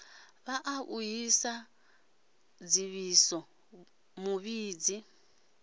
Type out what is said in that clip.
vhaa u si dzivhise muvhidzi